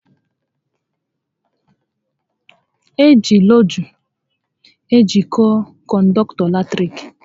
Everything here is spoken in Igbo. Eji lọọgụ ejiko kọndọktọ eletrik